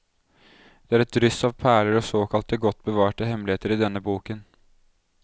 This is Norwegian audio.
Det er et dryss av perler og såkalte godt bevarte hemmeligheter i denne boken.